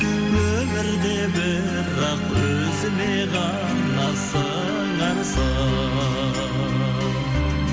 өмірде бірақ өзіме ғана сыңарсың